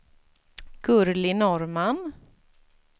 Gurli Norrman